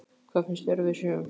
Hvað finnst þér að við séum?